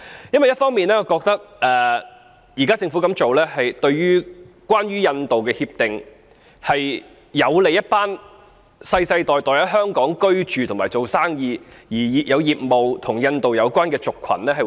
因為一方面，我覺得政府現在這樣做，就關於印度的協定而言，是有利一群世世代代在香港居住及做生意，而其業務是與印度有關的族群。